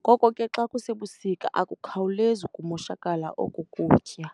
ngoko ke xa kusebusika akukhawulezi ukumoshakala oko kutya.